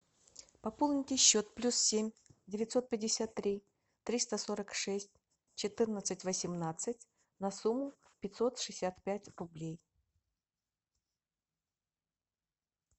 пополните счет плюс семь девятьсот пятьдесят три триста сорок шесть четырнадцать восемнадцать на сумму пятьсот шестьдесят пять рублей